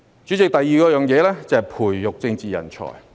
主席，第二是培育政治人才。